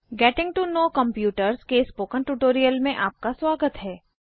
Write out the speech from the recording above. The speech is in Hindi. गेटिंग टो नोव कम्प्यूटर्स के स्पोकन ट्यूटोरियल में आपका स्वागत है